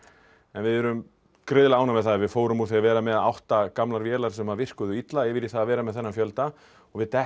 við erum gríðarlega ánægð með það við fórum úr því að vera með átta gamlar vélar sem virkuðu illa yfir í það að vera með þennan fjölda og við